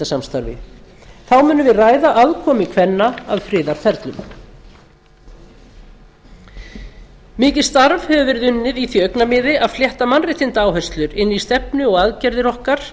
viðskiptasamstarfi þá munum við ræða aðkomu kvenna að friðarferlum mikið starf hefur verið unnið í því augnamiði að flétta mannréttindaáherslur inn í stefnu og aðgerðir okkar